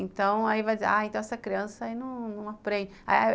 Então, aí vai dizer, ah, então essa criança aí não aprende.